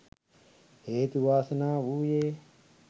හේතු වාසනා වූයේ